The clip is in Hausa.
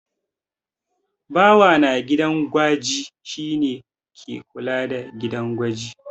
Bawa na gidan gwaji shi ne ke kula da gidan gwaji.